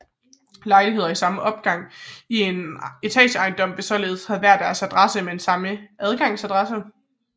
Lejligheder i samme opgang i en etageejendom vil således have hver deres adresse men samme adgangadresse